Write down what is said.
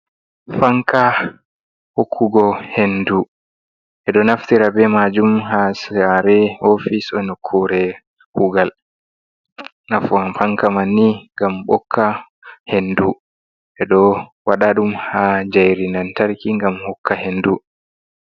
Fankaa 6okkugo hendu, 6eđo naftira beh maajum haa saare oofis e nokkure kuugal, nafu Fanka manni ngam 6okkaa hendu 6eđo wađa đum haa njairi lantarkii ngam hokkugo henduu.